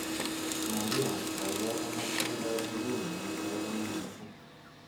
Maria kaikai konor tiendoab nguni eng chochame mising'